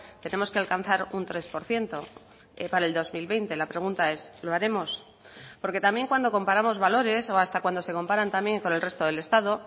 tenemos que alcanzar un tres por ciento para el dos mil veinte la pregunta es lo haremos porque también cuando comparamos valores o hasta cuando se comparan también con el resto del estado